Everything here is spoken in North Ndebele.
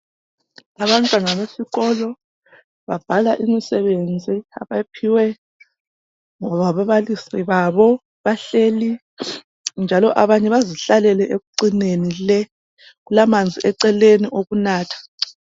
Abantwana besikolo babhala imisebenzi abayiphiwe ngababalisi babo bahleli njalo abanye bazihlalele ekucineni le, kulamanzi eceleni okunatha.